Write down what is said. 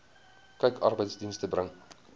kyk arbeidsdienste bring